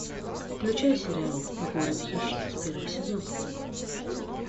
включай сериал город хищниц первый сезон